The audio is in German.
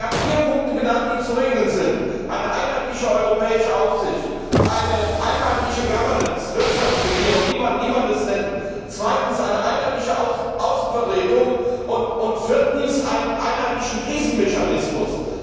Sie hat vier Punkte genannt, die zu regeln sind eine einheitliche europäische Aufsicht, zweitens eine einheitliche governance Wirtschaftsregierung, wie immer man es nennen mag, drittens eine einheitliche Außenvertretung und viertens einen einheitlichen Krisenmechanismus.